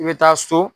I bɛ taa so